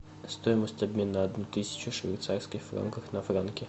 стоимость обмена одной тысячи швейцарских франков на франки